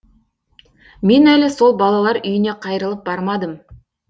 мен әлі сол балалар үйіне қайрылып бармадым